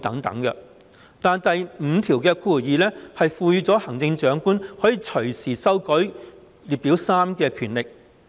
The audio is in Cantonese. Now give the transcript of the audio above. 但是，第52條賦權行政長官會同行政會議可隨時修改附表3。